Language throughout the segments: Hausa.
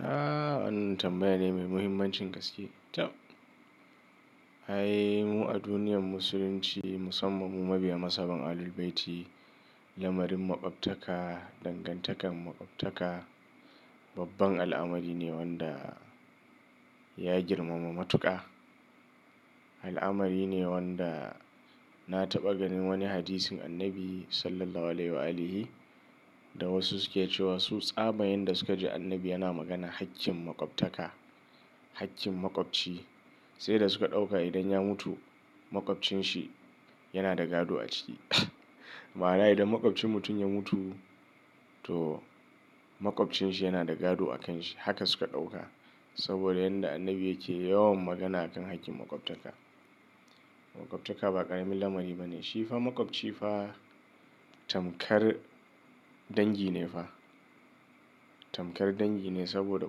Aaa! Wannan tambayane mai muhimmancin gaske. Tab, ai mu a duniyar Musulunci musamman mu mabiya mazhaban Ahlul Bayti, lamarin maƙwabtaka, dangantakar maƙwabtaka, babban al'amarine wanda ya girmama matuƙa. Al'amarine wanda na taɓa ganin wani hadisin annabi SAW da wasu suke cewa su tsabar yadda sukaji annabi yana maganar hakkin makwabtaka hakkin makwabci saida suka ɗauka idan ya mutu maƙwabcinsa yanada gado aciki. Ma'ana idan maƙwabcin mutum ya mutu to maƙwabcinsa yanada gado a kanshi. Haka suka ɗauka saboda yanda annabi yake yawan magana akan haƙƙin maƙwabtaka. Maƙwabtaka ba ƙaramin lamari bane. Shifa maƙwabci fa tamkar dangi ne fa. Tamkar dangi ne saboda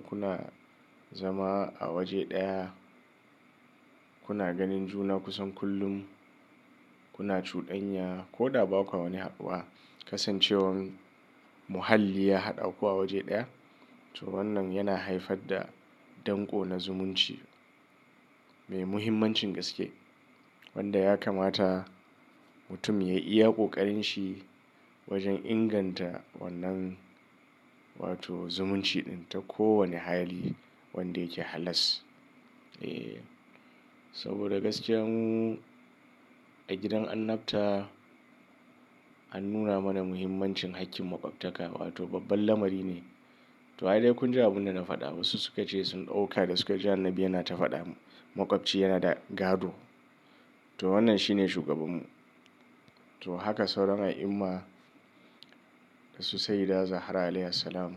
kuna zama a waje ɗaya, kuna ganin juna kusan kullum, kuna cuɗanya koda bakwa wani haɗuwa. Kasancewar muhalli ya haɗaku a waje ɗaya to wannan yana haifar da danko na zumunci mai muhimmancin gaske wanda ya kamata mutum yai iya ƙoƙarinshi wajen inganta wannan wato zumunci ɗin ta kowane hali wanda yake halas. Eh, saboda gaskiya mu a gidan annabta an nuna mana muhimmancin haƙƙin maƙwabtaka wato babban lamari ne. To ai dai kun ji abun dana faɗa wasu sukace sun ɗauka da suka ji annabi yana ta faɗa maƙwabci yana da gado to wannan shi ne shugabun mu. To haka sauran al'umma dasu Sayyida Zahra alayhi assalam.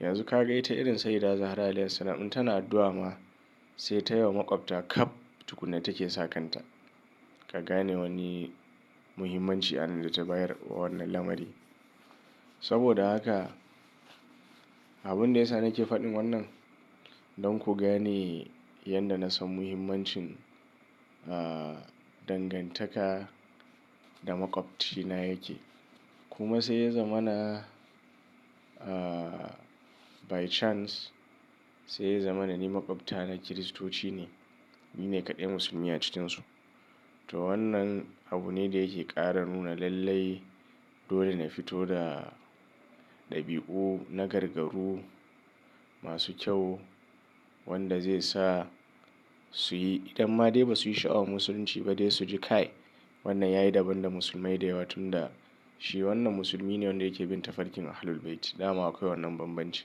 Yanzu kaga ita irin Sayyida Zahra alayhi assalam in tana addu'a ma sai taiwa makwabta kaf tukunna take sa kanta. Ka gane wani muhimmanci anan data bayar wa wannan lamari. Saboda haka abunda yasa nake faɗin wannan don ku gane yanda nasan muhimmancin, ah, dangantaka da makwabcina yake. Kuma sai ya zamana by chance, sai ya zamana ni makwabtana kiristocine. Ni ne kaɗai musulmi a cikinsu. To wannan abune da yake ƙara nuna lallai dole na fito da ɗabi'u na gargarru masu kyau wanda zai sa suyi idan ma dai basu yi sha'awar musulunci ba dai suji kai wannan yayi daban da musulmai da yawa tunda shi wannan musulmine wanda yake bin tafarkin Ahlul Bayt. Dama akwai wannan banbancin.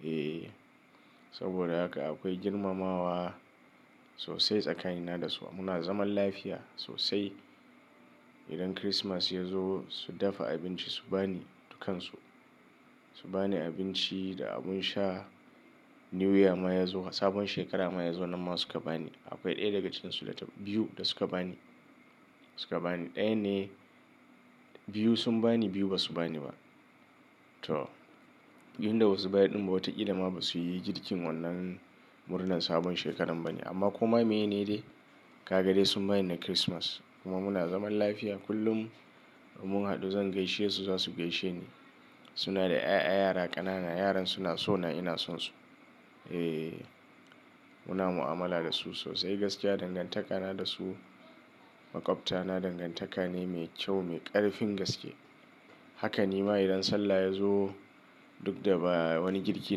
Eh, saboda haka akwai girmamawa sosai tsakanina dasu. Muna zaman lafiya sosai. Idan kirismas yazo su dafa abinci su bani dukansu. Su bani abinci da abin sha. New year ma yazo sabon shekara ma yazo nanma suka bani. Akwai ɗaya daga cikinsu data biyu da suka bani. Suka bani ɗayane, biyu sun bani biyu basu bani ba. To, inda basu bayar ɗin ba wata kila basu yi girkin wannan murnar sabon shekarar bane amma koma meye ne dai? Kaga dai sun bani na kirismas kuma muna zaman lafiya. Kullum da mun haɗu zan gaishesu zasu gaishe ni. Suna da 'ya'ya yara ƙanana. Yaran suna sona ina sonsu. Eh, muna mu'amala dasu sosai gaskiya dangantaka na dasu makwabtana dangantaka ne mai kyau mai ƙarfin gaske. Haka nima idan Sallah yazo duk da ba wani girki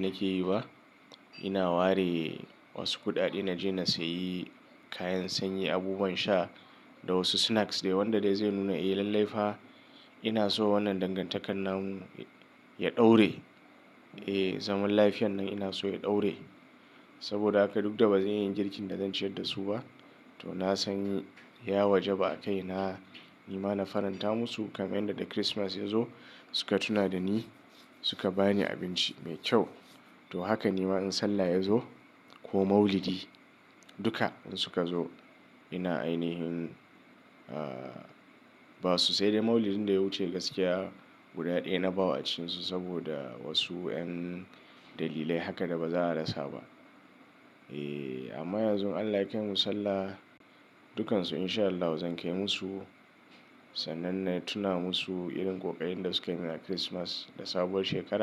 nake yi ba ina ware wasu kuɗaɗe naje na sayi kayan sanyi, abubuwan sha da wasu snacks dai wanda dai zai nuna eh lallai fa inaso wannan dangantakar namu ya ɗore. Eh, zaman lafiyan nan inaso ya ɗore saboda haka duk da bazan iya girkin da zan ciyar dasu ba to na sanyi ya wajaba a kaina nima na faranta musu kamar yanda da kirismas yazo suka tuna dani suka bani abinci mai kyau. To haka nima in Sallah yazo ko Maulidi duka in suka zo ina ainihin, ah, basu sai dai Maulidin daya wuce gaskiya guda ɗaya nabawa acikinsu saboda wasu 'yan dalilai haka da baza a rasa ba. Eh, amma yanzu in Allah yakaimu sallah dukansu insha Allahu zan kai musu sannan natuna musu irin ƙoƙarin da suka yimin a kirismas da sabuwar shekara.